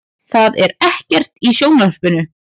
Það er ekkert í sjónvarpinu.